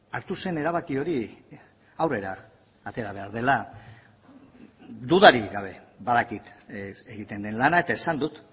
hartu zen erabaki hori aurrera atera behar dela dudarik gabe badakit egiten den lana eta esan dut